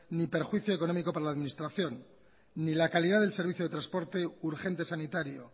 ni perjuicio económico para la administración ni la calidad del servicio de transporte urgente sanitario